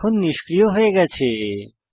colour এখন নিষ্ক্রিয় হয়ে গেছে